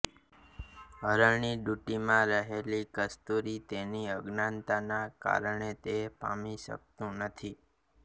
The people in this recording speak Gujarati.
હરણની દુંટીમાં રહેલી કસ્તુરી તેની અજ્ઞાનતાના કારણે તે પામી શકતું નથી